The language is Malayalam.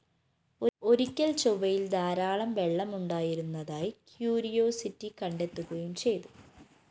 ഒരിക്കല്‍ ചൊവ്വയില്‍ ധാരാളം വെളളമുണ്ടായിരുന്നതായി ക്യൂരിയോസിറ്റി കണ്ടെത്തുകയും ചെയ്തു